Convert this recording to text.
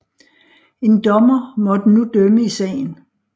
En dommer måtte nu dømme i sagen